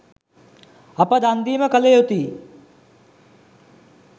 අප දන් දීම කළ යුතුයි.